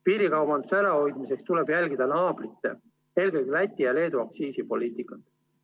Piirikaubanduse ärahoidmiseks tuleb jälgida naabrite, eelkõige Läti ja Leedu aktsiisipoliitikat.